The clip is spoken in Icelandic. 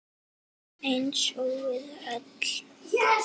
Eins og við öll.